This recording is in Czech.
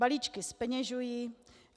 Balíčky zpeněžují.